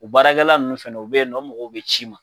O baarakɛla ninnu fana o bɛ yen o mɔgɔw bɛ ci i ma.